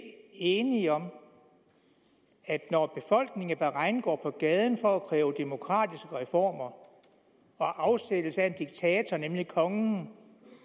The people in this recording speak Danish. enige om at når befolkningen i bahrain går på gaden for at kræve demokratiske reformer og afsættelse af en diktator nemlig kongen